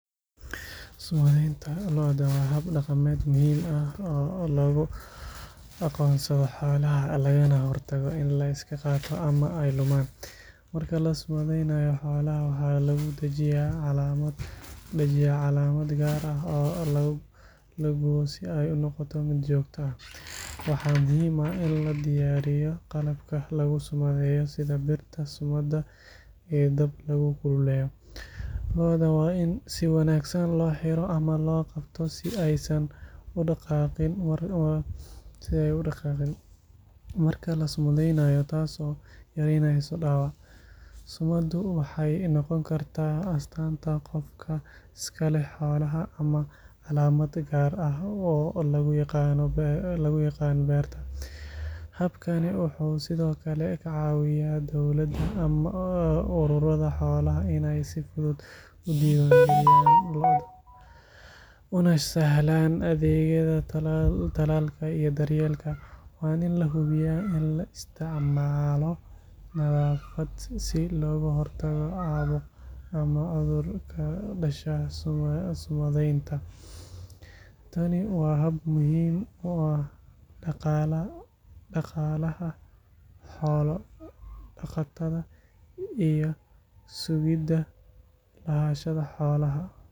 Sumadeynta lo’da waa hab dhaqameed muhiim ah oo lagu aqoonsado xoolaha lagana hortago in la iska qaato ama ay lumaan. Marka la sumadeynayo, xoolaha waxaa lagu dhajiyaa calaamad gaar ah oo la gubo si ay u noqoto mid joogto ah. Waxaa muhiim ah in la diyaariyo qalabka lagu sumadeeyo sida birta sumadda iyo dab lagu kululeeyo. Lo’da waa in si wanaagsan loo xiro ama loo qabto si aysan u dhaqaaqin marka la sumadeynayo taasoo yareynaysa dhaawac. Sumaddu waxay noqon kartaa astaanta qofka iska leh xoolaha ama calaamad gaar ah oo lagu yaqaan beerta. Habkani wuxuu sidoo kale ka caawiyaa dowladda ama ururada xoolaha in ay si fudud u diiwaangeliyaan lo’da una sahlaan adeegyada talaalka iyo daryeelka. Waa in la hubiyaa in la isticmaalo nadaafad si looga hortago caabuq ama cudur ka dhasha sumadeynta. Tani waa hab muhiim u ah dhaqaalaha xoolo-dhaqatada iyo sugidda lahaanshaha xoolaha.